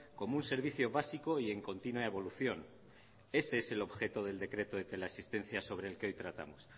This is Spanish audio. como un servicio básico y en continua evolución ese es el objeto del decreto de la teleasistencia sobre el que hoy tratamos